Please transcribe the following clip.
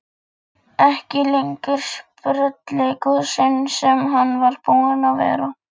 Ekki lengur sprelligosinn sem hann var búinn að vera.